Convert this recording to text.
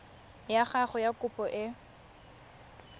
ya gago ya kopo e